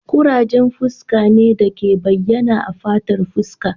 ƙurajen fuska ne da ke bayyana a fatar fuska